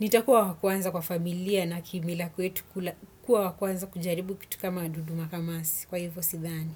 Nitakuwa wa kwanza kwa familia na kimila kwetu kuwa wa kwanza kujaribu kitu kama dudu makamasi. Kwa hivyo sidhani.